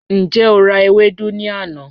Njẹ o ra ewedu ni ana?